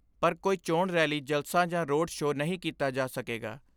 ਪਰ ਕੋਈ ਚੋਣ ਰੈਲੀ ਜਲਸਾ ਜਾਂ ਰੋਡ ਸ਼ੋਅ ਨਹੀਂ ਕੀਤਾ ਜਾ ਸਕੇਗਾ।